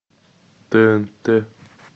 тнт